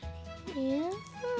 já